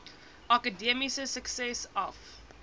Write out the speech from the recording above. akademiese sukses af